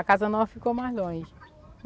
A Casa Nova ficou mais longe.